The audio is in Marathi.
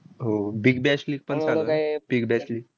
हो. Big bash league पण चालू आहे? big bash league